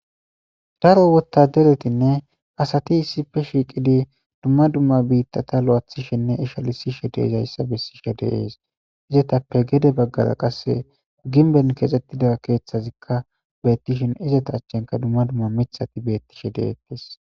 Daro wotaderetinne asati issife shiiqidi dumma dumma biittata lo7athishinne ishalisishe de izayssa bessishe deees izetappe gede baggara qasse ginben kexettida keeththazikka beettishin izeta achchenka dumma dumma mithati bettishe deettis